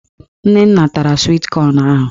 Nnenna tara swit kọn ahụ